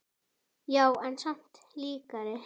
Já, en samt líkari henni.